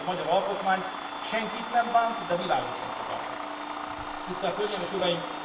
A magyar alkotmány senkit nem bánt, de világosan fogalmaz. Tisztelt hölgyeim és uraim!